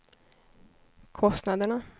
kostnaderna